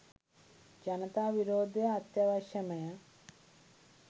ජනතා විරෝධය අත්‍යාවශ්‍යමය